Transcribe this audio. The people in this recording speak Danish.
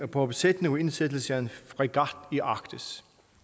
på besætning og indsættelse af en fregat i arktis